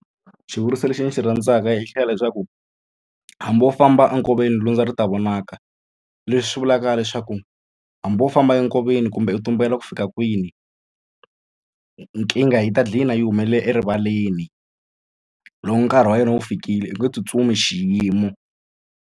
Xivuriso lexi ni xi rhandzaka xi hlaya leswaku hambi wo famba enkoveni lundza ri ta vonaka leswi vulaka leswaku hambi wo famba enkoveni kumbe u tumbela ku fika kwini nkingha yi ta gcina yi humelela erivaleni loko nkarhi wa yona wu fikile u nge tsutsumi xiyimo.